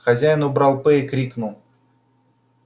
хозяин убрал п и крикнул